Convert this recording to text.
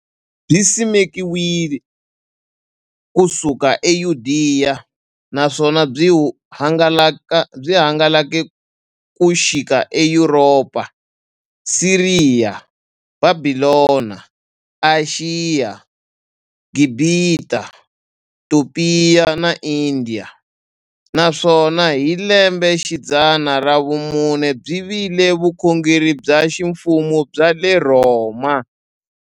Byisimekiwe ku suka e Yudeya, naswona byi hangalake ku xika e Yuropa, Siriya, Bhabhilona, Ashiya, Gibhita, Topiya na Indiya, naswona hi lembexidzana ra vumune byi vile vukhongeri bya ximfumo bya le Rhoma.